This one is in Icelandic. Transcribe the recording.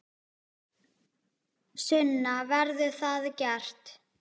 Sunna: Verður það gert?